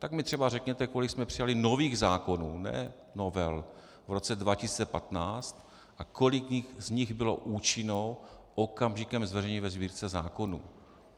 Tak mi třeba řekněte, kolik jsme přijali nových zákonů, ne novel, v roce 2015 a kolik z nich bylo účinných okamžikem zveřejnění ve Sbírce zákonů.